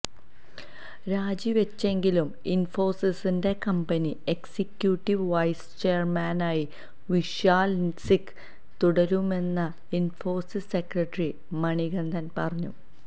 രാജി വെച്ചെങ്കിലും ഇന്ഫോസിസിന്റെ കമ്പനി എക്സിക്യൂട്ടീവ് വൈസ് ചെയര്മാനായി വിശാല് സിക്ക തുടരുമെന്ന് ഇന്ഫോസിസ് സെക്രട്ടറി മണികന്ദ പറഞ്ഞു